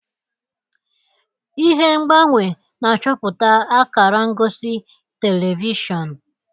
Ihe ngbanwe na-achọpụta akara ngosi telivishọn.